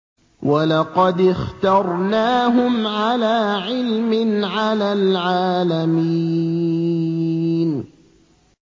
وَلَقَدِ اخْتَرْنَاهُمْ عَلَىٰ عِلْمٍ عَلَى الْعَالَمِينَ